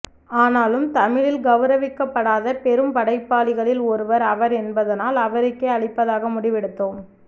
ஆனாலும் தமிழில் கௌரவிக்கப்படாத பெரும்படைப்பாளிகளில் ஒருவர் அவர் என்பதனால் அவருக்கே அளிப்பதாக முடிவெடுத்தோம்